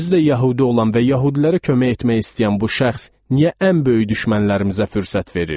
Özü də yəhudi olan və yəhudilərə kömək etmək istəyən bu şəxs niyə ən böyük düşmənlərimizə fürsət verir?